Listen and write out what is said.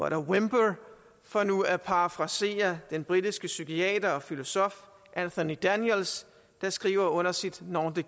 a whimper for nu at parafrasere den britiske psykiater og filosof anthony daniels der skriver under sit nom de